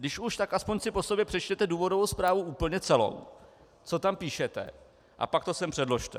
Když už, tak aspoň si po sobě přečtěte důvodovou zprávu úplně celou, co tam píšete, a pak to sem předložte.